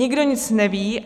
Nikdo nic neví.